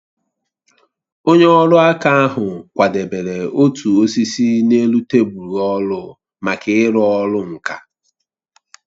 Onye ọrụ aka ahụ kwadebere otu osisi n'elu tebụl ọrụ maka ịrụ ọrụ nka